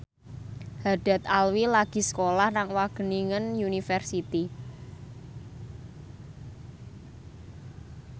Haddad Alwi lagi sekolah nang Wageningen University